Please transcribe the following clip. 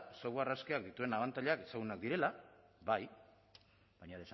software askeak dituen abantailak ezagunak direla bai baina